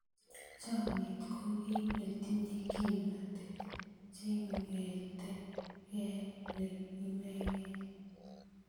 Chomnyet ko kei netinyei kimnatet, cheing'eti kei ne inegei.